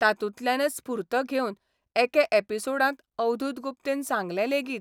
तातूंतल्यानच स्फूर्त घेवन एके एपिसोडांत अवधूत गुप्तेन सांगलें लेगीत